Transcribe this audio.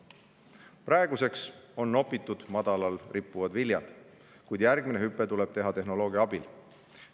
Praeguseks on nopitud madalal rippuvad viljad, kuid järgmine hüpe tuleb teha tehnoloogia abil.